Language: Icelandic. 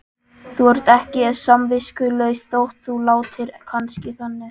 Þú ert ekki samviskulaus þótt þú látir kannski þannig.